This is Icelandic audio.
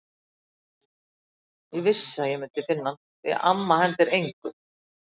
Ég vissi að ég myndi finna hann, því að amma hendir engu.